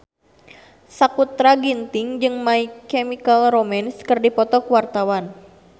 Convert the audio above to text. Sakutra Ginting jeung My Chemical Romance keur dipoto ku wartawan